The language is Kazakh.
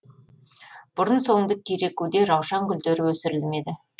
бұрын соңды керекуде раушан гүлдері өсірілмеді